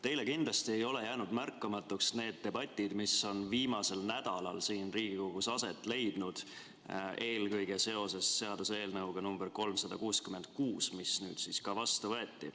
Teile kindlasti ei ole jäänud märkamata need debatid, mis viimasel nädalal siin Riigikogus aset on leidnud eelkõige seoses seaduseelnõuga 366, mis nüüd ka vastu võeti.